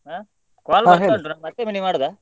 ಆ ಮತ್ತೆ ನಿಮ್ಗ ಮಾಡುದಾ?